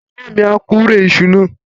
Bàbá mi á kórè iṣu náà.